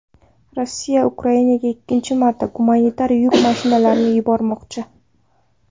Rossiya Ukrainaga ikkinchi marta gumanitar yuk mashinalarini yubormoqchi.